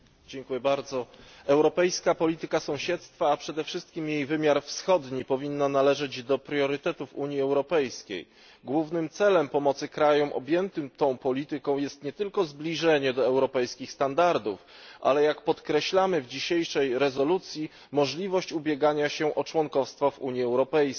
Pani Przewodnicząca! Europejska polityka sąsiedztwa, a przede wszystkim jej wymiar wschodni, powinna należeć do priorytetów Unii Europejskiej. Głównym celem pomocy krajom objętym tą polityką jest nie tylko zbliżenie do europejskich standardów, ale jak podkreślamy w dzisiejszej rezolucji możliwość ubiegania się o członkostwo w Unii Europejskiej.